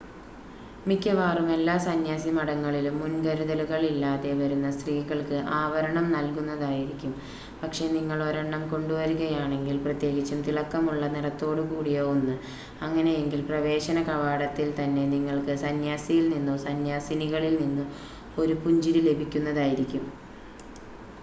മിക്കവാറും എല്ലാ സന്യാസിമഠങ്ങളിലും മുൻകരുതലുകൾ ഇല്ലാതെ വരുന്ന സ്ത്രീകൾക്ക് ആവരണം നൽകുന്നതായിരിക്കും പക്ഷെ നിങ്ങൾ ഒരെണ്ണം കൊണ്ടു വരുകയാണെങ്കിൽ പ്രത്യേകിച്ചും തിളക്കം ഉള്ള നിറത്തോടുകൂടിയ ഒന്ന് അങ്ങനെയെങ്കിൽ പ്രവേശന കവാടത്തിൽ തന്നെ നിങ്ങൾക്ക് സന്യാസിയിൽ നിന്നോ സന്യാസിനികളിൽ നിന്നോ ഒരു പുഞ്ചിരി ലഭിക്കുന്നതായിരിക്കും